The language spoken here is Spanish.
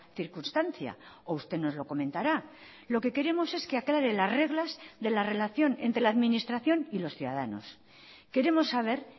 circunstancia o usted nos lo comentará lo que queremos es que aclare las reglas de la relación entre la administración y los ciudadanos queremos saber